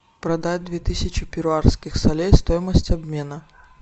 продать две тысячи перуанских солей стоимость обмена